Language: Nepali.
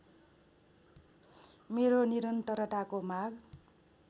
मेरो निरन्तरताको माग